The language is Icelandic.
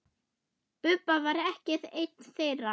Bubba var ekki einn þeirra.